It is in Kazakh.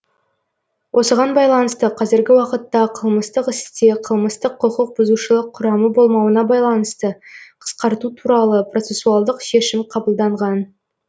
осыған байланысты қазіргі уақытта қылмыстық істе қылмыстық құқық бұзушылық құрамы болмауына байланысты қысқарту туралы процесуалдық шешім қабылданған